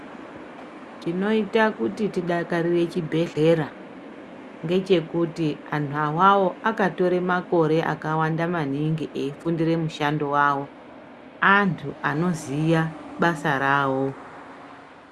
Chinoita kuti tidakarire chibhedhlera ngechekuti anhu awawo akatore makore akawanda maningi eifundire mushando wawo, antu anoziya basa rawo.